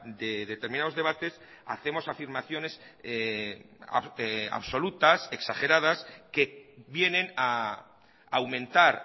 de determinados debates hacemos afirmaciones absolutas exageradas que vienen a aumentar